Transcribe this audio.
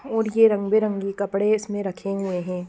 और ये रंगबेरंगी कपड़े इसमें रखे हुए है।